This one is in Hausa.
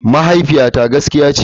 Mahaifiyata gaskiya ce.